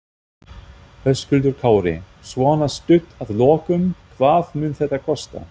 Höskuldur Kári: Svona stutt að lokum, hvað mun þetta kosta?